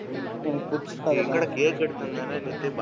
டேய் எங்க டா கேக் எடுத்துட்டு வந்தேன்னு நேத்து,